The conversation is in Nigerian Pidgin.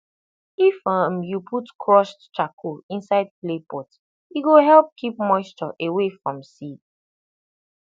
if um you put crushed charcoal inside clay pot e go help keep moisture away from seed